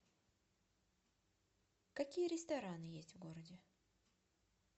какие рестораны есть в городе